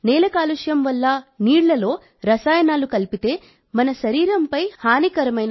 నేల కాలుష్యం వల్ల నీళ్లలో రసాయనాలు కలిపితే మన శరీరంపై హానికరమైన ప్రభావాలు కలుగుతాయి